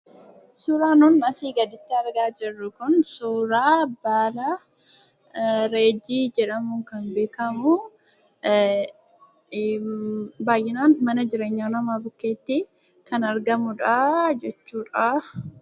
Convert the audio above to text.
Suuraan nuti asii gaditti argaa jirru kun suuraa baalaa reejjii jedhamuun kan beekamu baay'inaan mana jireenyaa namaa bukkeetti kan argamudha jechuudha.